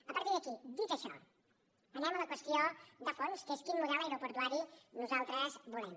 a partir d’aquí dit això anem a la qüestió de fons que és quin model aeroportuari nosaltres volem